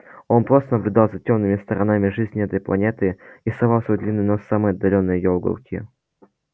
он просто наблюдал за тёмными сторонами жизни этой планеты и совал свой длинный нос в самые отдалённые её уголки